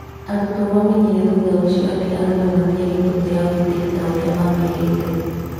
Arutwa mamenyire thutha ũcio atĩ arũme matiare mbũtũ ya ũgitĩri taũrĩa mamerĩte